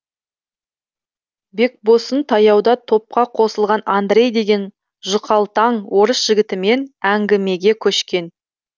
бекбосын таяуда топқа қосылған андрей деген жұқалтаң орыс жігітімен әңгімеге көшкен